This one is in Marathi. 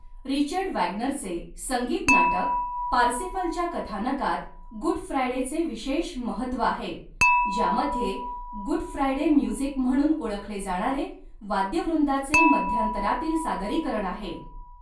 रिचर्ड वॅगनरचे संगीत नाटक पारसिफलच्या कथानकात गुड फ्रायडेचे विशेष महत्त्व आहे, ज्यामध्ये गुड फ्रायडे म्युझिक म्हणून ओळखले जाणारे वाद्यवृंदाचे मध्यांतरातील सादरीकरण आहे.